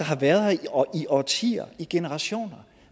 har været her i årtier i generationer